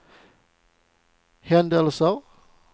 händelser